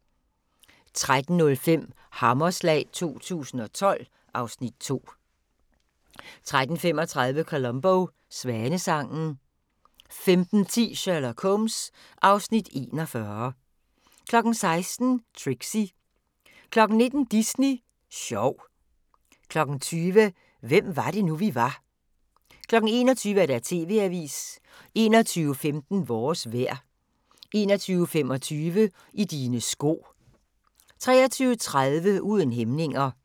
13:05: Hammerslag 2012 (Afs. 2) 13:35: Columbo: Svanesangen 15:10: Sherlock Holmes (Afs. 41) 16:00: Trixie 19:00: Disney Sjov 20:00: Hvem var det nu, vi var 21:00: TV-avisen 21:15: Vores vejr 21:25: I dine sko 23:30: Uden hæmninger